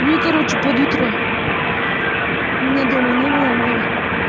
ну и короче под утро меня дома не было маме